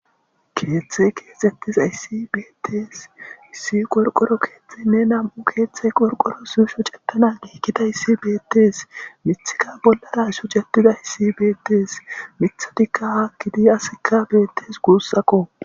keeththe keexettiz aissi beettees issi qorqoro keeththey ne nam7u keeththey qorqoro su shucetana geekita hissi beettees mithika bollara shucetida issi beettees mithotikka ha kidi asikka beettes guussakko